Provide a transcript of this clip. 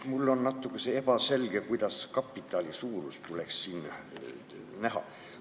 Mulle jäi natuke ebaselgeks, kuidas kapitali suurust tuleks siin näha.